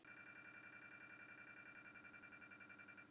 Hann er stundum algjör.